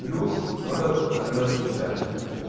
плюс надо утверждать бюджет